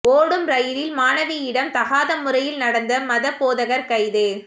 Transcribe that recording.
ஓடும் ரெயிலில் மாணவியிடம் தகாத முறையில் நடந்த மத போதகர் கைது